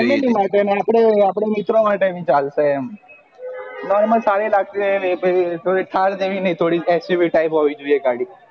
family માટે અને આપડે મિત્રો માટે માટે ભી ચાલશે એમ normal thar જેવી નહિ xuv type હોવી જોઈએ ગાડી